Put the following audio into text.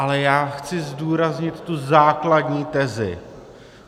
Ale já chci zdůraznit tu základní tezi.